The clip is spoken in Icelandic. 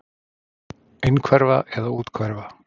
Innhverfa eða úthverfa?